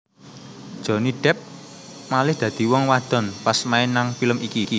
Johnny Depp malih dadi wong wadon pas main nang film iki